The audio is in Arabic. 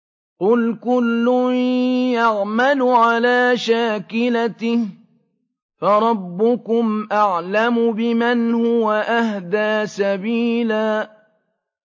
قُلْ كُلٌّ يَعْمَلُ عَلَىٰ شَاكِلَتِهِ فَرَبُّكُمْ أَعْلَمُ بِمَنْ هُوَ أَهْدَىٰ سَبِيلًا